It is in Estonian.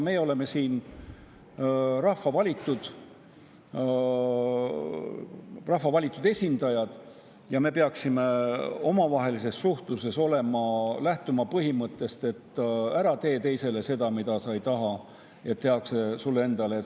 Meie oleme siin rahva valitud esindajad ja me peaksime omavahelises suhtluses lähtuma põhimõttest, et ära tee teisele seda, mida sa ei taha, et tehakse sulle endale.